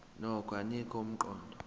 nokho anika umqondo